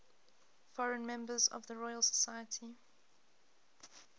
foreign members of the royal society